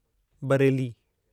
Bareilly